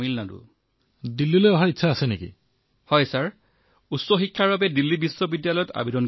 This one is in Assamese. তথাপিও তেওঁ ইমান সাহসী আৰু শক্তিশালী